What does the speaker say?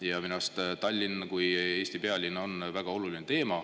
Ja minu arust Tallinn kui Eesti pealinn on väga oluline teema.